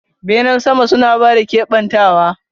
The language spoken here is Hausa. Benen sama suna ba da kebantawa.